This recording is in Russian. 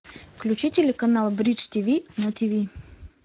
включи телеканал бридж тиви на тиви